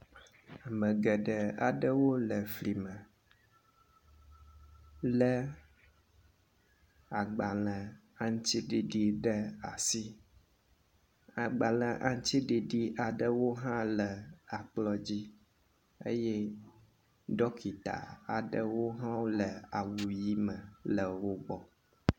Ame geɖe aɖewo le fli me lé agbalẽ aŋuti ɖiɖi ɖe asi. Agbalẽ aŋutiɖiɖi aɖewo hã le akplɔ̃ dzi eye ɖɔkita aɖewo hã wole awu ʋi me le wo gbɔ.